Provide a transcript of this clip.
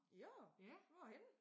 I år? Hvorhenne?